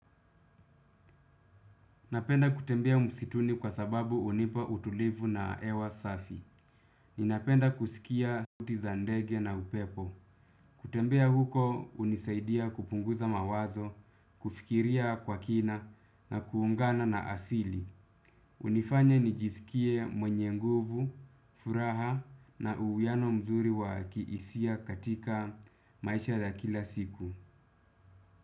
Napenda kutembea msituni kwa sababu hunipa utulivu na hewa safi. Ninapenda kusikia sauti za ndege na upepo. Kutembea huko hunisaidia kupunguza mawazo, kufikiria kwa kina na kuungana na asili. Hunifanya nijisikie mwenye nguvu, furaha na uwiano mzuri wa kihisia katika maisha ya kila siku.